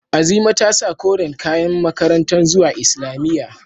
Azima ta sa koren kayan makaranta zuwa islamiyya.